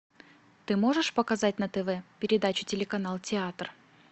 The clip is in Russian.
ты можешь показать на тв передачу телеканал театр